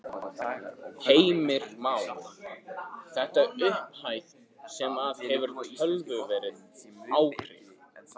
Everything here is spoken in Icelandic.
Heimir Már: Þetta er upphæð sem að hefur töluverð áhrif?